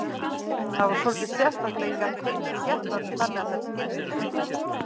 Það var svolítið sérstakt að ég gat tengst skepnunum þannig að þær skildu mig.